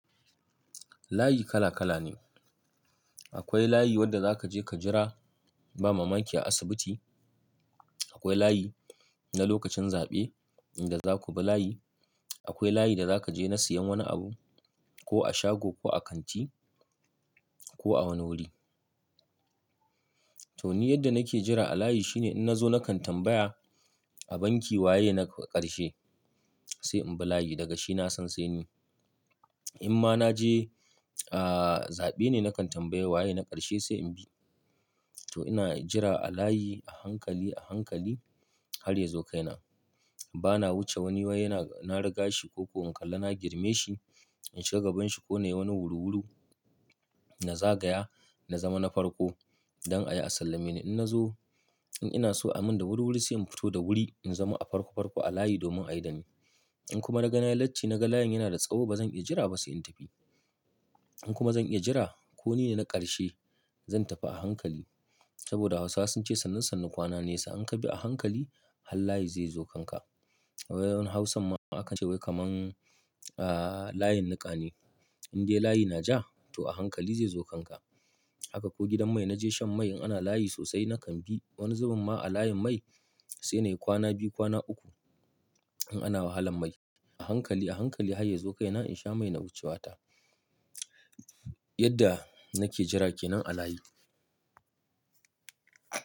Layi kala kala ne. Akwai layi wanda za ka je ka jira ba ma banki a asibiti. Akwai layi na lokacin zaɓe in da za ku bi layi. Akwai layi da za ka je na siyan wani abu ko a shago ko a kanti ko a wani wuri. To ni yadda nake jira a layi shine in na zo na kan tambaya a banki waye na ƙarshe sai in bi layi daga shi na san sai ni. In ma na je, ahhh, zaɓe ne na kan tambaya waye na ƙarshe sai in bi. To ina jira a layi a hankali, a hankali har ya zo kaina. Ba na wuce wani waye na riga shi ko in kalla na girme shi in shiga gabanshi ko na yi wani wuri-wuri na zagaya na zama na farko don a yi a sallame ni. In na zo, in ina so a min da wuri-wuri sai in fito da wuri in zama a farko farko a layi domin a yi da ni. In kuma na ga nayi latti na ga layin yana da tsawo ba zan iya jira ba sai in tafi. In kuma zan iya jira ko nine na ƙarshe zan tafi a hankali saboda Hausawa sun ce sannan sannu kwana nesa in ka bi a hankali har layi zai zo kanka. Wani Hausa ma aka ce wai kamar, ahhh, layin niƙa ne in dai layi na ja to a hankali zai zo kanka. Haka ko gidan mai na je shan mai in ana layi sosai na kan bi. Wani zuben ma a layin mai sai na yi kwana biyu, kwana uku in ana wahalan mai. A hankali, a hankali har ya zo kaina in sha mai na wuce wata. Yadda nake jira ke nan a layi.